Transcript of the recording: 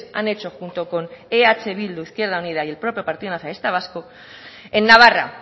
han hecho junto con eh bildu izquierda unida y el propio partido nacionalista vasco en navarra